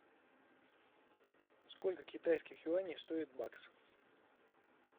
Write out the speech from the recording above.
сколько китайских юаней стоит бакс